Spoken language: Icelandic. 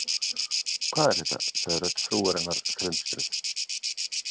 Hvað er þetta? sagði rödd frúarinnar felmtruð.